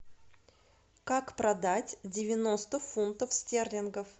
как продать девяносто фунтов стерлингов